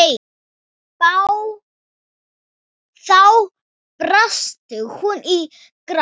Þá brast hún í grát.